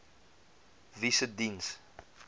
wie se diens